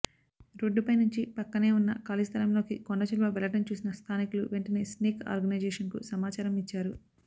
రోడ్డుపై నుంచి పక్కనే ఉన్న ఖాళీ స్థలంలోకి కొండచిలువ వెళ్లడం చూసిన స్థానికులు వెంటనే స్నేక్ ఆర్గనైజేషన్కు సమాచారం ఇచ్చారు